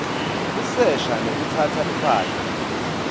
kusesha nekutsatsa imphahla